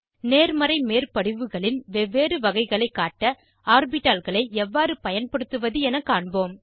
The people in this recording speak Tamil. நேர்மறை மேற்படிவுகளின் வெவ்வேறு வகைகளைக் காட்ட ஆர்பிட்டால்களை எவ்வாறு பயன்படுத்துவது என காண்போம்